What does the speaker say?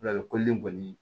Lakolili kɔni